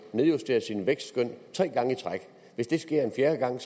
nedjustere sit vækstskøn tre gange i træk hvis det sker en fjerde gang